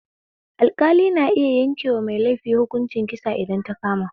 Alɗƙali na iya yankewa mai laifi hukuncin kisa idan ta kama